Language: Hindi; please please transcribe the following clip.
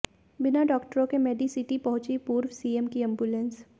बिना डॉक्टरों के मेडिसिटी पहुंची पूर्व सीएम की एंबुलेंस